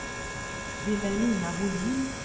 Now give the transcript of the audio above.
Vilhelmina Bohlin